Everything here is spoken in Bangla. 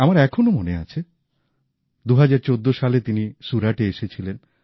আমার এখনও মনে আছে ২০১৪ সালে তিনি সুরাতে এসেছিলেন